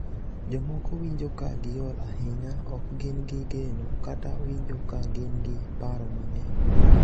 Jomoko winjo ka giol ahinya, ok gin gi geno, kata winjo ka gin gi paro mang’eny.